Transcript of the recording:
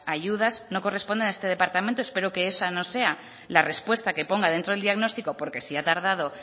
ayudas no corresponden a este departamento espero que esa no sea la respuesta que ponga dentro del diagnóstico porque si ha tardado